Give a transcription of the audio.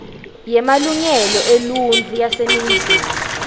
yemalungelo eluntfu yaseningizimu